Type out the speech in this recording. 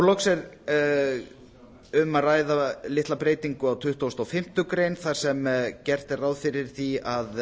loks er um að ræða litla breytingu á tuttugustu og fimmtu grein þar sem gert er ráð fyrir því